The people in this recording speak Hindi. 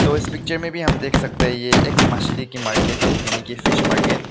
उस पिक्चर में भी हम देख सकते हैं ये एक मछली की मार्केट है यानी कि फिश मार्केट --